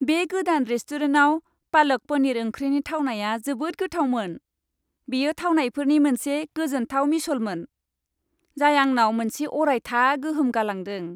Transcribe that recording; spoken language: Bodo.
बे गोदान रेस्टुरेन्टआव पालक पनीर ओंख्रिनि थावनाया जोबोद गोथावमोन, बेयो थावनायफोरनि मोनसे गोजोनथाव मिसलमोन, जाय आंनाव मोनसे अरायथा गोहोम गालांदों।